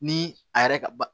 Ni a yɛrɛ ka